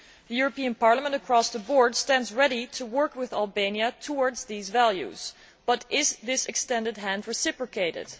The European Parliament, across the board, stands ready to work with Albania towards these values, but is this extended hand reciprocated?